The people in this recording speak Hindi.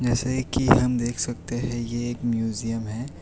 ऐसे की हम देख सकते हैं कि ये एक म्यूजियम है।